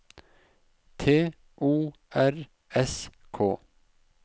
T O R S K